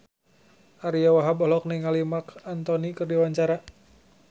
Ariyo Wahab olohok ningali Marc Anthony keur diwawancara